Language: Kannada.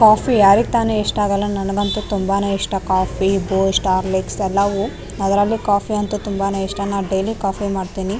ಕಾಫಿ ಯಾರ್ಗ್ತಾನೆ ಇಷ್ಟ ಆಗಲ್ಲ ನನ್ಗಂತು ತುಂಬಾನೆ ಇಷ್ಟ ಕಾಫಿ ಬೂಸ್ಟ್ ಹೋರ್ಲಿಕ್ಸ್ ಎಲ್ಲವು ಅದ್ರಲ್ಲಿ ಕಾಫಿ ಅಂತು ತುಂಬಾನೆ ಇಷ್ಟ ನಾನ್ ಡೈಲಿ ಕಾಫಿ ಮಾಡ್ತೀನಿ .